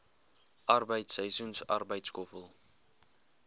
arbeid seisoensarbeid skoffel